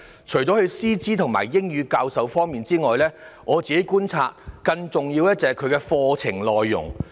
除了師資及英語教學之外，據我觀察，更重要的是其課程內容。